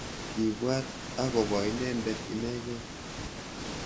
kiibwat ak Kobo inendet inekei